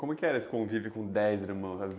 Como que era esse convívio com dez irmãos?